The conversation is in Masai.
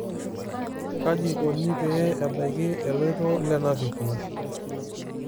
kaji ikoni pee ebaki eloito le navicular?